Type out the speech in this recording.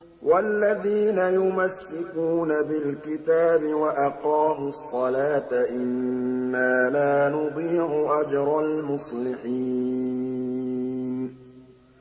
وَالَّذِينَ يُمَسِّكُونَ بِالْكِتَابِ وَأَقَامُوا الصَّلَاةَ إِنَّا لَا نُضِيعُ أَجْرَ الْمُصْلِحِينَ